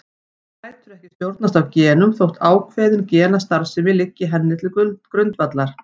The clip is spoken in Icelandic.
Hún lætur ekki stjórnast af genum þótt ákveðin genastarfsemi liggi henni til grundvallar.